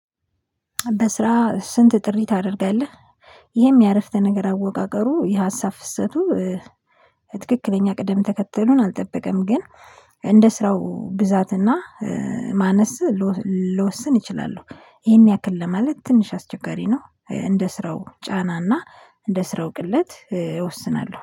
በስራ ስንት ጥሪ ታደርጋለህ? ይህም ያረፍተ ነገር አወቃቀሩ የሀሳብ ፍሰቱ ትክክለኛ ቅደም ተከተሉን አልጠበቀም። ግን እንደ ስራው ብዛትና ማነስ። ልወስን እችላለህ ይሄን ያክል ለማለት ትንሽ አስቸጋሪ ነው። እንደ ስራው ጫናና እንደ ስራው ቅለት እወስናለሁ